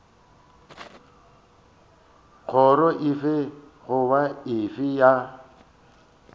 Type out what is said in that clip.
kgoro efe goba efe ya